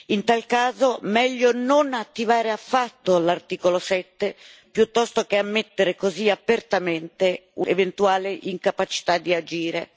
In tal caso, meglio non attivare affatto l'articolo 7, piuttosto che ammettere così apertamente un'eventuale incapacità di agire.